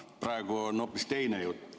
Praegu on hoopis teine jutt.